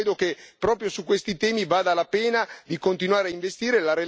Io credo che proprio su questi temi valga la pena di continuare a investire.